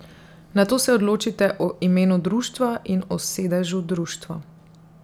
Nato se odločite o imenu društva in o sedežu društva.